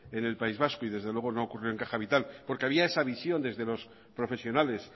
en el país vasco y desde luego no ocurrió en caja vital porque había esa visión desde los profesionales